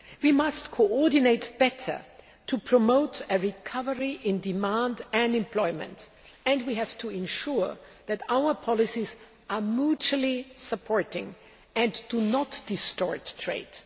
We must coordinate better to promote a recovery in demand and employment, and we have to ensure that our policies are mutually supporting and do not distort trade.